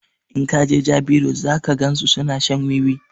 In ka jeJabi road zaka gan su suna shan wiwi